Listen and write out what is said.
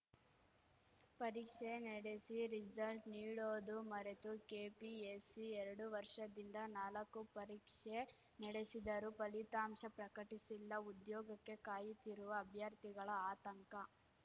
ಪರೀಕ್ಷೆ ನಡೆಸಿ ರಿಸಲ್ಟ್ ನೀಡೋದು ಮರೆತು ಕೆಪಿಎಸ್ಸಿ ಎರಡು ವರ್ಷದಿಂದ ನಾಲಕ್ಕು ಪರೀಕ್ಷೆ ನಡೆಸಿದರೂ ಫಲಿತಾಂಶ ಪ್ರಕಟಿಸಿಲ್ಲ ಉದ್ಯೋಗಕ್ಕೆ ಕಾಯುತ್ತಿರುವ ಅಭ್ಯರ್ಥಿಗಳ ಆತಂಕ